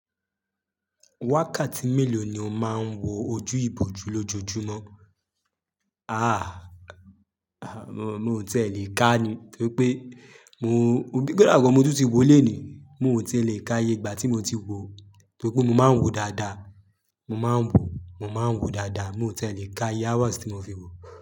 Wákàtí mélòó ni o máa ń wo ojú ìbòjú lójoojúmọ́? Aà, aà mi ò tí e lè ká ni, nítorí pé mo, kódà gan mo tún tún wo lónìí, mo ò tí e lè ká iye ìgbà tí mo ti wo, nítorí pé mo máa ń wòó dáadáa, mo máa ń wòó, mo máa ń wòó dáadáa. Mi ò tí e lè ká iye hours tí mo fi wòó.